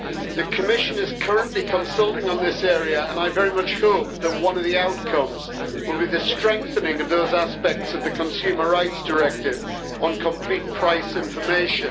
The Commission is currently consulting on this area, and I very much hope that one of the outcomes will be the strengthening of those aspects of the Consumer Rights Directive on complete price information.